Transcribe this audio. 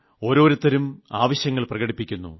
ഓരോത്തരും ആവശ്യങ്ങൾ പ്രകടിപ്പിക്കുന്നു